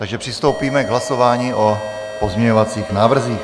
Takže přistoupíme k hlasování o pozměňovacích návrzích.